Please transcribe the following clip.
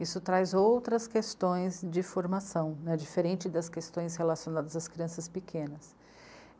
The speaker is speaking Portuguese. Isso traz outras questões de formação, diferente das questões relacionadas às crianças pequenas.